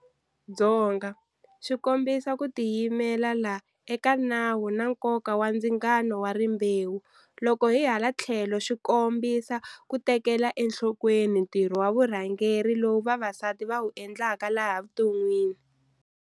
Dzonga swi kombisa ku ti yimelela eka nawu na nkoka wa ndzingano wa rimbewu, loko hi hala tlhelo swi kombisa ku tekela enhlokweni ntirho wa vurhangeri lowu vavasati va wu endlaka laha vuton'wini.